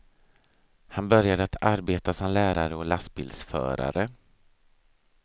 Han började att arbeta som lärare och lastbilsförare.